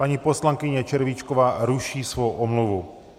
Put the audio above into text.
Paní poslankyně Červíčková ruší svou omluvu.